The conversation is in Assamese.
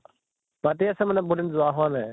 মাতি আছে মানে বহুত দিন যোৱা হোৱা নাই